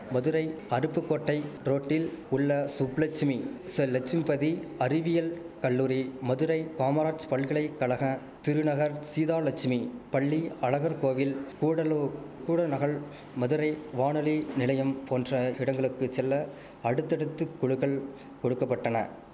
மதுரை அருப்புக்கோட்டை ரோட்டில் உள்ள சுப்லெட்சுமி ஸ லட்சும்பதி அறிவியல் கல்லூரி மதுரை காமராஜ் பல்கலை கழக திருநகர் சீதாலட்சுமி பள்ளி அழகர்கோவில் கூடலூர் கூடநகல் மதுரை வானொலி நிலையம் போன்ற இடங்களுக்குச்செல்ல அடுத்தடுத்து குளுகள் கொடுக்க பட்டன